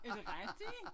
Er det rigtig?